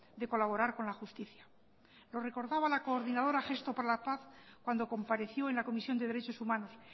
de colaborar con la justicia lo recordaba la coordinadora gesto por la paz cuando compareció en la comisión de derechos humanos